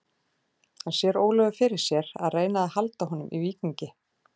En sér Ólafur fyrir sér að reyna að halda honum í Víkingi?